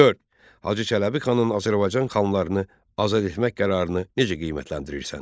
Dörd: Hacı Çələbi xanın Azərbaycan xanlarını azad etmək qərarını necə qiymətləndirirsən?